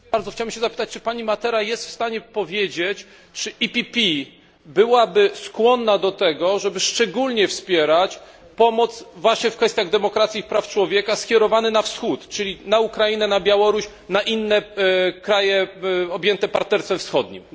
Chciałem się zapytać, czy pani Matera jest w stanie powiedzieć, czy PPE byłaby skłonna do tego, żeby szczególnie wspierać pomoc właśnie w kwestiach demokracji i praw człowieka, skierowaną na Wschód, czyli na Ukrainę, na Białoruś, na inne kraje objęte Partnerstwem Wschodnim?